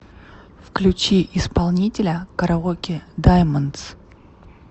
включи исполнителя караоке даймондс